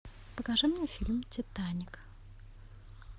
покажи мне фильм титаник